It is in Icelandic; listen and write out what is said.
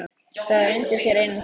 Það er undir þér einum komið